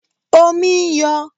Omi ń yọ